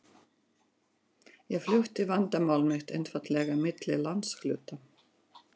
Ég flutti vandamál mitt einfaldlega milli landshluta.